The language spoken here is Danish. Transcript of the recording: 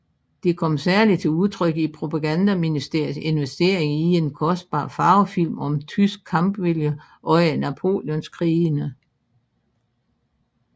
Det kom særligt til udtryk i propagandaministeriets investering i en kostbar farvefilm om tysk kampvilje under Napoleonskrigene